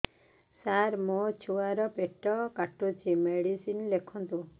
ସାର ମୋର ଛୁଆ ର ପେଟ କାଟୁଚି ମେଡିସିନ ଲେଖନ୍ତୁ